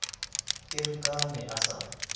erekaha a ne a sa